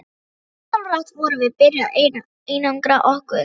Ósjálfrátt vorum við byrjuð að einangra okkur.